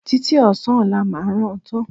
Títí ọ̀sán ọlá máa rán an tán